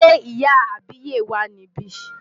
Ṣé ìyá àbíyè wà níbí?